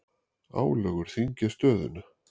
Álögur þyngja stöðuna